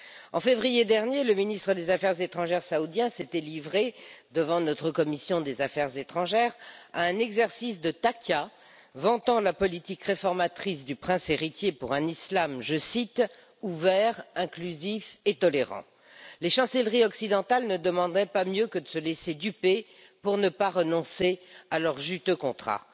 En février dernier, le ministre des affaires étrangères saoudien s'était livré, devant notre commission des affaires étrangères, à un exercice de taqîya, vantant la politique réformatrice du prince héritier pour un islam, je cite ouvert, inclusif et tolérant. Les chancelleries occidentales ne demandaient pas mieux que de se laisser duper pour ne pas renoncer à leurs juteux contrats.